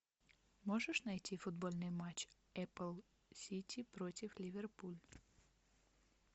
можешь найти футбольный матч апл сити против ливерпуль